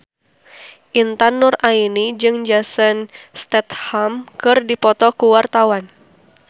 Intan Nuraini jeung Jason Statham keur dipoto ku wartawan